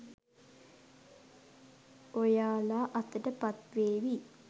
ඔයාලා අතට පත් වේවි.